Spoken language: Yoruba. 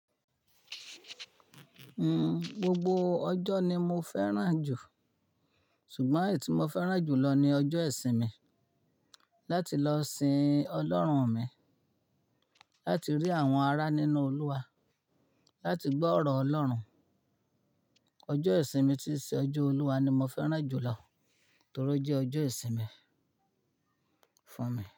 Mm, gbogbo ọjọ́ ni mo fẹ́ràn jù, ṣùgbọ́n èyí tí mo fẹ́ràn jù lọ ni ọjọ́ ìsinmi láti lọ sìn Ọlọ́run mi, láti rí àwọn ará nínú Olúwa, láti gbọ́ ọ̀rọ̀ Ọlọ́run. Ọjọ́ ìsinmi tí í ṣe ọjọ́ Olúwa ni mo fẹ́ràn jù lọ torí ó jẹ́ ọjọ́ ìsinmi fún mi.